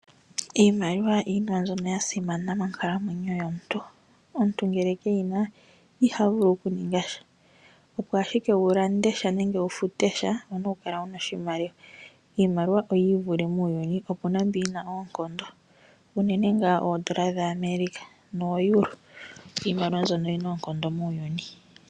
Iimaliwa iinima mbyono ya simana monkalamwenyo yomuntu. Omuntu ngele ke yi na, iha vulu okuninga sha. Opo wu lande nenge wu fute sha, owu na okukala wu na oshimaliwa. Iimaliwa oyi ivule muuyuni, opu na mbi yi na oonkondo, unene ngaa oondola dhaAmerica noEuro. Iimaliwa mbyono oyi na oonkondo muuyuni.